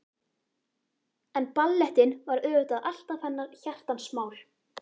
En ballettinn var auðvitað alltaf hennar hjartans mál.